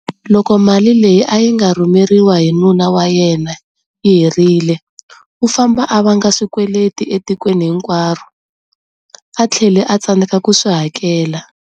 Loko mali leyi a nga rhumeriwa hi nuna wa yena yi herile, u famba a vanga swikweleti etikweni hinkwaro, a tlhele a tsandzeka ku swi hakela.